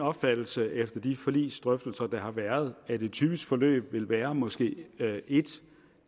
opfattelse efter de forligsdrøftelserne der har været at et typisk forløb vil være måske en